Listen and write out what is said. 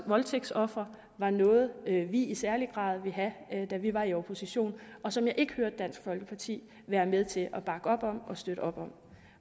voldtægtsofre var noget vi i særlig grad ville have da vi var i opposition og som jeg ikke hørte dansk folkeparti være med til at bakke op om og støtte op om